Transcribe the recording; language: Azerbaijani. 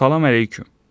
Salam əleyküm.